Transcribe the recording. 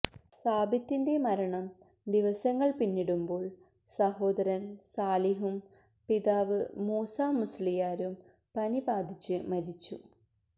സാബിത്തിന്റെ മരണം ദിവസങ്ങള് പിന്നിടുമ്പോള് സഹോദരന് സാലിഹും പിതാവ് മൂസ മുസ്ലിയാരും പനി ബാധിച്ച് മരിച്ചു